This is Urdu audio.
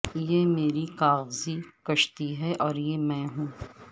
یہ میری کاغذی کشتی ہے اور یہ میں ہوں